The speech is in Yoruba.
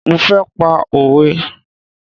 Mo fẹ́ pa òwe